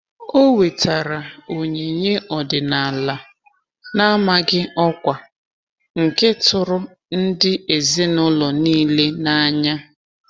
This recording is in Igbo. O wetara onyinye ọdịnala n'amaghị ọkwa, nke tụrụ ndị ezinụlọ niile n'anya